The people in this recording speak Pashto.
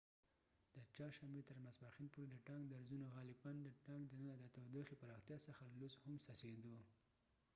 د چهارشنبې تر ماسپښین پورې د ټانک درزونو غالپاً د ټانک دننه د تودوخي پراختیا څخه لوس هم څڅیدو